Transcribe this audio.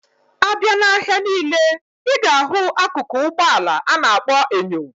Abia na ahia nile, iga ahu akụkụ Ụgbọ ala ana akpo enyo.